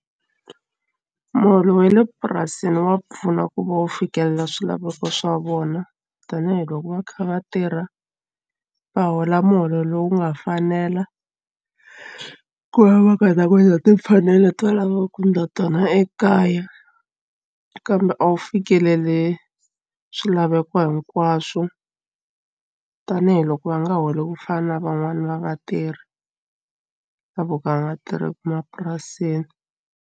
Muholo wa le purasini wa pfuna ku va u fikelela swilaveko swa vona tanihiloko va kha va tirha va hola muholo lowu nga fanela ku va ku heta ku endla timfanelo leti va lavaka ku endla tona ekaya kambe a wu fikeleli swilaveko hinkwaswo tanihiloko va nga holi ku fana na van'wani va vatirhi la vo ka va nga tirheki emapurasini.